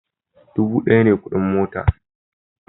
Dubu daya ne kudin mota